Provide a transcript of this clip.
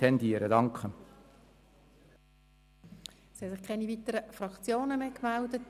Es haben sich keine weiteren Fraktionen mehr gemeldet.